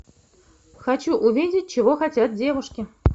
хочу увидеть чего хотят девушки